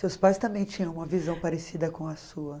Seus pais também tinham uma visão parecida com a sua?